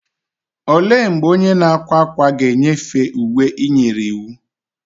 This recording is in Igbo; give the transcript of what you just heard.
Olee mgbe onye na-akwa ákwà ga-enyefee uwe ị nyere iwu?